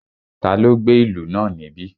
Taló gbé ìlú náà níbí?